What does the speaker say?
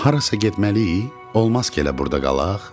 Harasa getməliyik, olmaz ki elə burda qalaq?